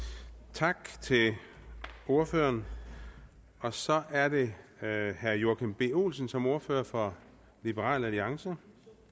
tak til ordføreren så er det herre joachim b olsen som ordfører for liberal alliance